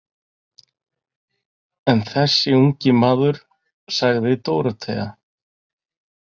En þessi ungi maður, sagði Dórótea.